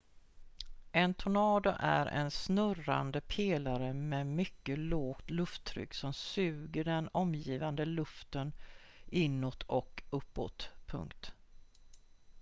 en tornado är en snurrande pelare med mycket lågt lufttryck som suger den omgivande luften inåt och uppåt